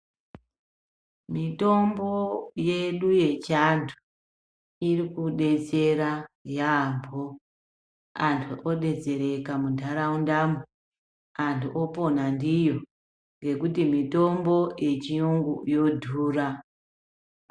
Mitombo yedu yechiantu iri kudetsera yaambo. Antu obetsereka muntaraundamo, antu opona ndiyo ngekuti mitombo yechiyungu yodhuya.